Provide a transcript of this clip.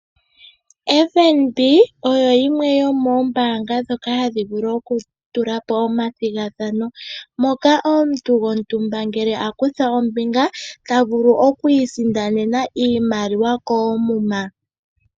FNB, oyo yimwe yo moobanga ndhoka hadhi vulu oku tula po oma thigathano, moka omuntu go ntumba ngele a kutha ombinga ta vulu oku i sindanena iimaliwa koomuma.